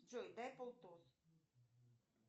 джой дай полтос